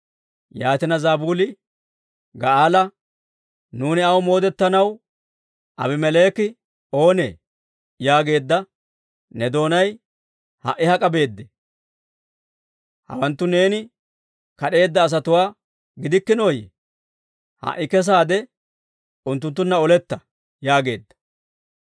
Yaatina, Zabuuli Ga'aala, « ‹Nuuni aw moodettanaw Aabimeleeki oonee?› yaageedda ne doonay ha"i hak'a beedee? Hawanttu neeni kad'eedda asatuwaa gidikkinooyye? Ha"i kesaade unttunttunna oletta!» yaageedda.